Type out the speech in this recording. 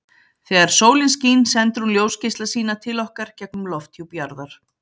Þegar sólin skín sendir hún ljósgeisla sína til okkar gegnum lofthjúp jarðar.